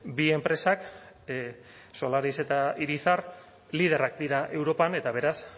bi enpresak solaris eta irizar liderrak dira europan eta beraz